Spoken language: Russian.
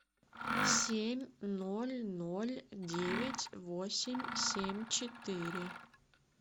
семь ноль ноль девять восемь семь четыре